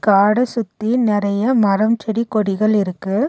காட சுத்தி நெறைய மரம் செடி கொடிகள் இருக்கு.